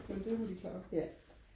men det må de klare